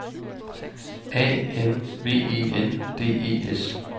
A N V E N D E S